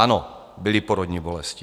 Ano, byly porodní bolesti.